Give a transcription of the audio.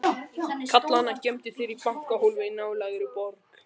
Karlana geymdu þær í bankahólfi í nálægri borg.